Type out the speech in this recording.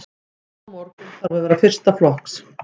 Frammistaðan á morgun þarf að vera fyrsta flokks.